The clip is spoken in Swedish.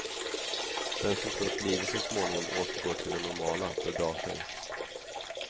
Den som tror att livet så småningom återgår till det normala bedrar sig.